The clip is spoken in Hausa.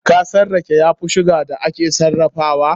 Kasan rake ya fi sugar da aka sarrafa?